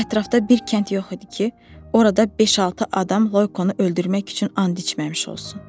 O ətrafda bir kənd yox idi ki, orada beş-altı adam Loykonu öldürmək üçün and içməmiş olsun.